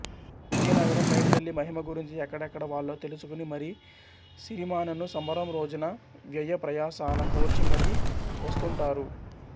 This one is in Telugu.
విజయనగరం పైడితల్లి మహిమ గురించి ఎక్కడెక్కడ వాళ్లో తెలుసుకుని మరీ సిరిమానను సంబరం రోజున వ్యవప్రయాసల కోర్చి మరీ వస్తుంటటారు